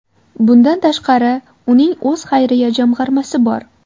Bundan tashqari, uning o‘z xayriya jamg‘armasi bor.